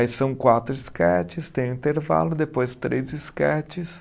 Aí são quatro esquetes, tem intervalo, depois três esquetes.